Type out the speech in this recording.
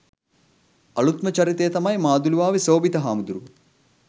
අලූත්ම චරිතය තමයි මාදුළුවාවේ සෝභිත හාමුදුරුවෝ.